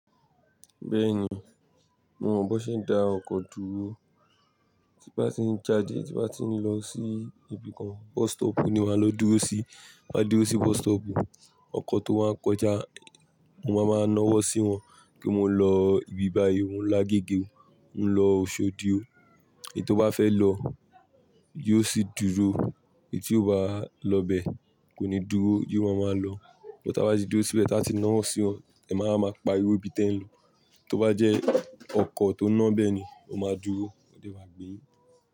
Bẹ́ẹ̀ni, mo mọ bọ ṣé dá ọkọ̀ dúró. Tí bá ti ń jade, tí bá ti ń lọ sí ibi kan, bus stop ni wàá lọ dúró sí. Bí màá dúró sí bus stop, ọkọ̀ tó bá ń kọjá, mo máa mọ náwọ́ sí wọn kí n máa lọ ibi bá yí, òun lá gígé. Ǹ lọ Oṣòdìọ, èyí tó bá fẹ́ lọ, yóò sì dúró, èyí tí ò bá lọ bẹ, kò ní dúró, yóò ma ma lọ. Bí táa bá ti dúró síbẹ̀, táa ti náwọ́ sí wọn, ẹ̀máa wa ma pariwo ibi tí ẹ̀ ń lọ. Tó bá jẹ́ ọkọ̀ tó ń ná bẹ́ẹ̀ ni, o máa dúró, wọ́n sì máa gbé e.